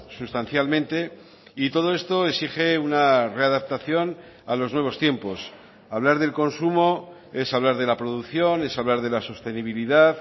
sustancialmente y todo esto exige una readaptación a los nuevos tiempos hablar del consumo es hablar de la producción es hablar de la sostenibilidad